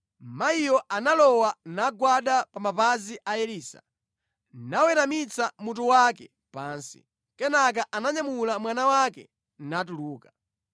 Mayiyo analowa, nagwada pa mapazi a Elisa, naweramitsa mutu wake pansi. Kenaka ananyamula mwana wake natuluka.